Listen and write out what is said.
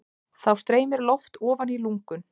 Þá streymir loft ofan í lungun.